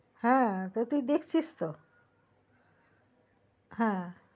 হ্যা তা তুই দেখছি তো